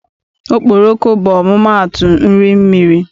Okporoko bụ ọmụmaatụ nri mmiri.